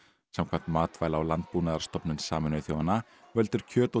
samkvæmt Matvæla og landbúnaðarstofnun Sameinuðu þjóðanna veldur kjöt og